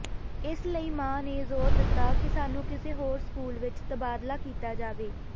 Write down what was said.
ਇਸ ਲਈ ਮਾਂ ਨੇ ਜ਼ੋਰ ਦਿੱਤਾ ਕਿ ਸਾਨੂੰ ਕਿਸੇ ਹੋਰ ਸਕੂਲ ਵਿੱਚ ਤਬਾਦਲਾ ਕੀਤਾ ਜਾਵੇ